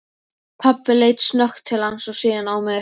Pabbi leit snöggt til hans og síðan á mig.